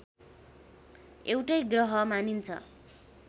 एउटै ग्रह मानिन्छ